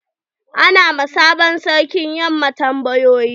Ana wa sabon sarkin yamma tambayoyi.